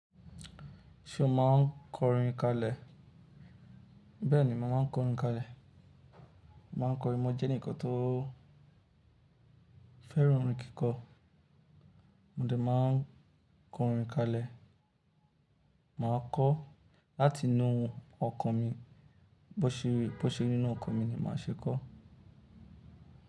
Ṣé o máa ń kọ orin kalẹ? Bẹ́ẹ̀ni, mo màa n kọrin kalẹ. Mà n korin, mo jẹ́ ẹnìkan tó fẹ́ràn orin kíkọ. Mo dẹ̀ máa ń kọ orin kalẹ. Mà á kọ láti inú ọkàn mi. Bó ṣe, bó ṣe nínú ọkàn mi ni mà á ṣe é kọ.